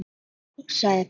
Já, sagði barnið.